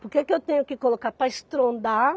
Porque que eu tenho que colocar para estrondar?